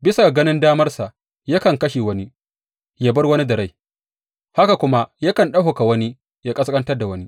Bisa ga ganin damarsa yakan kashe wani, ya bar wani da rai, haka kuma yakan ɗaukaka wani, ya ƙasƙantar da wani.